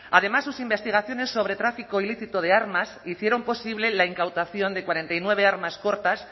además sus investigaciones sobre tráfico ilícito de armas hicieron posible la incautación de cuarenta y nueve armas cortas